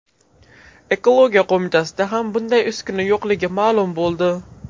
Ekologiya qo‘mitasida ham bunday uskuna yo‘qligi ma’lum bo‘ldi.